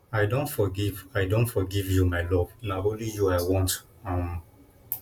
i don forgive i don forgive you my love na only you i want um